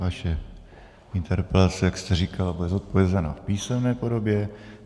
Vaše interpelace, jak jste říkala, bude zodpovězena v písemné podobě.